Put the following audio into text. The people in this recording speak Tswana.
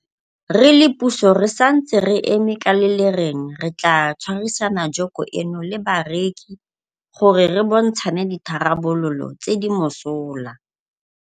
Re le puso re santse re eme ka le le reng re tla tshwarisana joko eno le bakereki gore re bontshane ditharabololo tse di mosola.